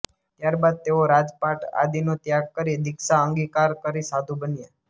ત્યારબાદ તેઓ રાજપાટ આદિનો ત્યાગ કરી દીક્ષા અંગીકાર કરી સાધુ બન્યા